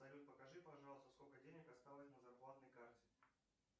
салют покажи пожалуйста сколько денег осталось на зарплатной карте